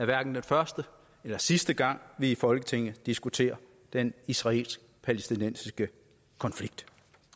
hverken den første eller sidste gang vi i folketinget diskuterer den israelsk palæstinensiske konflikt